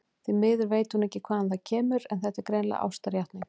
Því miður veit hún ekki hvaðan það kemur, en þetta er greinilega ástarjátning.